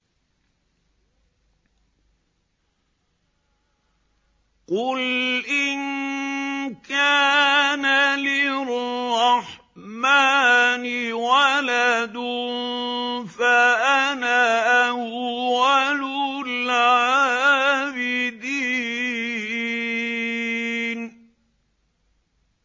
قُلْ إِن كَانَ لِلرَّحْمَٰنِ وَلَدٌ فَأَنَا أَوَّلُ الْعَابِدِينَ